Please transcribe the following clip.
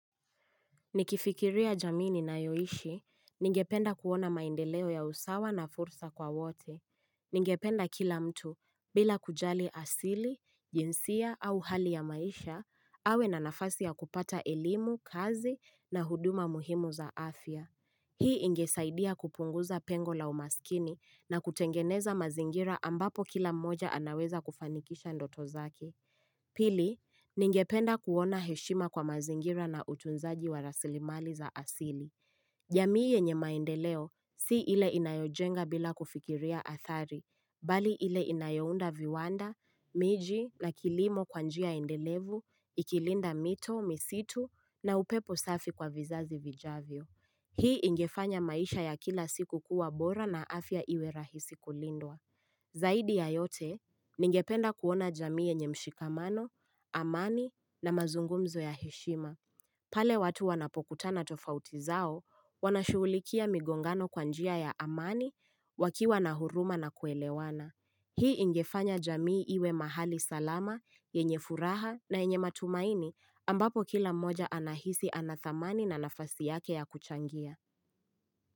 Nikifikiria jamii ninayoishi, ningependa kuona maendeleo ya usawa na fursa kwa wote. Ningependa kila mtu, bila kujali asili, jinsia au hali ya maisha, awe na nafasi ya kupata elimu, kazi na huduma muhimu za afya. Hii ingesaidia kupunguza pengo la umaskini na kutengeneza mazingira ambapo kila mmoja anaweza kufanikisha ndoto zake. Pili, ningependa kuona heshima kwa mazingira na utunzaji wa rasilimali za asili. Jamii yenye maendeleo, si ile inayojenga bila kufikiria athari, bali ile inayounda viwanda, miji na kilimo kwa njia endelevu, ikilinda mito, misitu na upepo safi kwa vizazi vijavyo. Hii ingefanya maisha ya kila siku kuwa bora na afya iwe rahisi kulindwa. Zaidi ya yote ningependa kuona jamii yenye mshikamano, amani na mazungumzo ya heshima. Pale watu wanapokutana tofauti zao wanashughulikia migongano kwa njia ya amani wakiwa na huruma na kuelewana. Hii ingefanya jamii iwe mahali salama, yenye furaha na yenye matumaini ambapo kila mmoja anahisi ana dhamani na nafasi yake ya kuchangia.